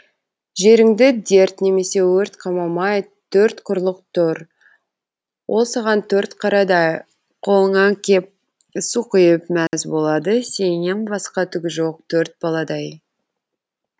жеріңді дерт немесе өрт қамамай төрт құрлық тұр ол саған төрт қарадай қолыңа кеп су құйып мәз болады сеннен басқа түгі жоқ төрт баладай